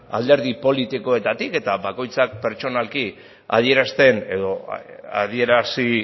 alderdi politikoetatik eta bakoitzak pertsonalki adierazten edo adierazi